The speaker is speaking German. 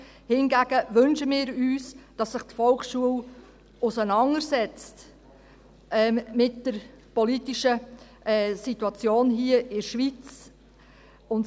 Hingegen wünschen wir uns, dass sich die Volksschule mit der politischen Situation in der Schweiz auseinandersetzt.